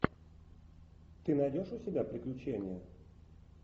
ты найдешь у себя приключения